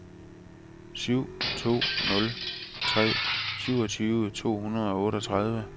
syv to nul tre syvogtyve to hundrede og otteogtredive